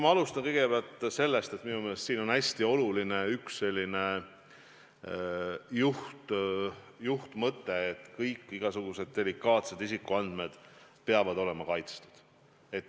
Ma alustan kõigepealt sellest, et minu meelest on hästi oluline juhtmõte, et igasugused delikaatsed isikuandmed peavad olema kaitstud.